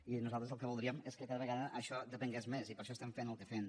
i nosaltres el que voldríem és que cada vegada això en depengués més i per això estem fent el que fem